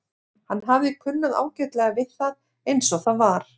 Hann hafði kunnað ágætlega við það eins og það var.